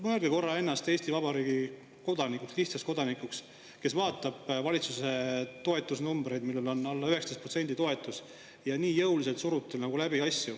Mõelge korra ennast Eesti Vabariigi kodanikuks, lihtsaks kodanikuks, kes vaatab valitsuse toetusnumbreid: alla 19% toetust ja nii jõuliselt surutakse asju läbi.